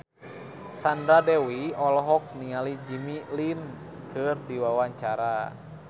Sandra Dewi olohok ningali Jimmy Lin keur diwawancara